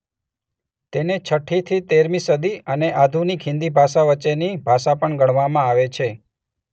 તેને છઠ્ઠીથી તેરમી સદી અને અધુનિક હિન્દી ભાષા વચ્ચેની ભાષા પણ ગણવામાં આવે છે.